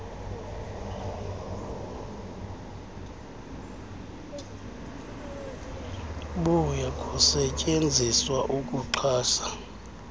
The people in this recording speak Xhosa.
buya kusetyenziswa ukuxhasa